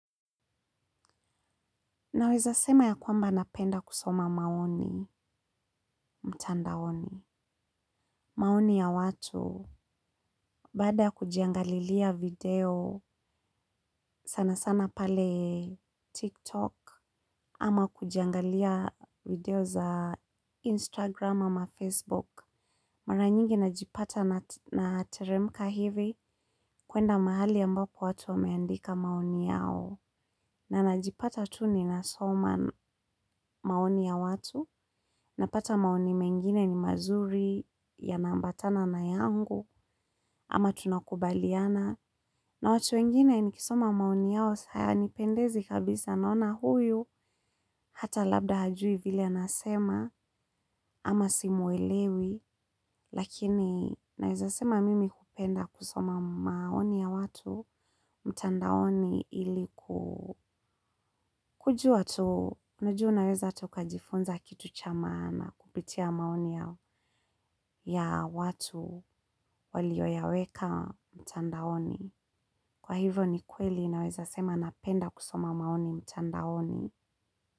Naweza sema ya kwamba napenda kusoma maoni, mtandaoni. Maoni ya watu, baada ya kujiangalilia video sana sana pale TikTok, ama kujiangalia video za Instagram ama Facebook. Mara nyingi najipata na teremka hivi kuenda mahali ambapo watu wameandika maoni yao. Na najipata tu ninasoma maoni ya watu, napata maoni mengine ni mazuri yana ambatana na yangu, ama tunakubaliana. Na watu wengine nikisoma maoni yao hayanipendezi kabisa naona huyu, hata labda hajui vile anasema, ama simwelewi. Lakini naweza sema mimi hupenda kusoma maoni ya watu mtandaoni ilikujua tu. Najua unaweza hata ukajifunza kitu cha maana kupitia maoni ya watu walio yaweka mtandaoni. Kwa hivyo ni kweli naweza sema napenda kusoma maoni mtandaoni.